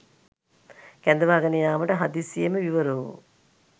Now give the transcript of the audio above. කැඳවාගෙන යාමට හදිසියේම විවිර වූ